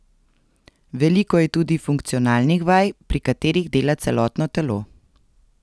Veliko je tudi funkcionalnih vaj, pri katerih dela celotno telo.